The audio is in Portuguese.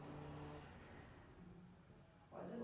Pode ir lá.